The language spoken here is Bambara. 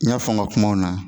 N y'a fɔ n ka kumaw na